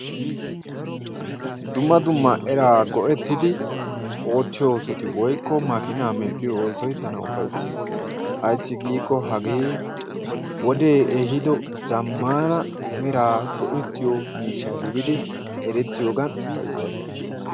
Dumma dumma eraa go'ettidi oottiyo oososti woykko makkiinna medhiyo oosoy tana ufayssees. Ayssi giikko hagee wodee ehiido zamaana eraa go'ettiyo miishsha gididdi erettiyoogan ufayssees.